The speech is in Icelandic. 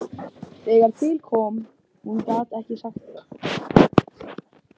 Þegar til kom,- hún gat ekki sagt það.